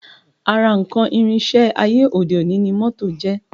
Ara nǹkan ìrìnsẹ̀ ayé òde òní ni moto jẹ́